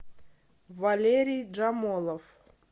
валерий джамолов